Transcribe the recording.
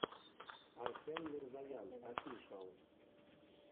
арсен мирзоян офишиал